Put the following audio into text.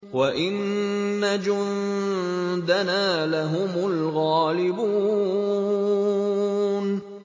وَإِنَّ جُندَنَا لَهُمُ الْغَالِبُونَ